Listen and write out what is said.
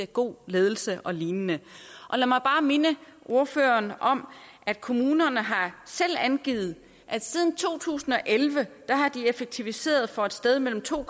god ledelse og lignende lad mig bare minde ordføreren om at kommunerne selv har angivet at siden to tusind og elleve har de effektiviseret for et sted mellem to